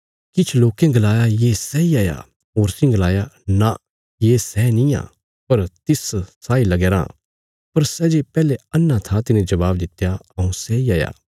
किछ लोकें गलाया ये सैई हाया होरसीं गलाया नां ये सै निआं पर तिस साई लगया राँ पर सै जे पैहले अन्हा था तिने जबाब दित्या हऊँ सैई हाया